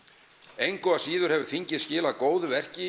engu að síður hefur þingið skilað góðu verki